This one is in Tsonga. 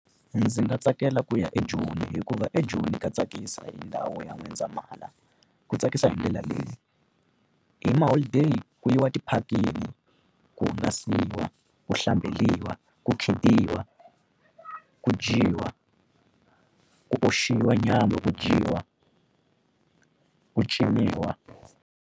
Ndzi nga tsakela ku ya eJoni hikuva eJoni ka tsakisa hi ndhawu ya N'wendzamhala. Ku tsakisa hi ndlela leyi, hi maholideyi ku yiwa tiphakini, ku hungasiwa, ku hlamberiwa, ku khidiwa, ku dyiwa, ku oxiwa nyama ku dyiwa, ku ciniwa.